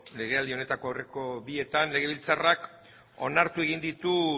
legealdi honetako aurreko bietan legebiltzarrak onartu egin ditu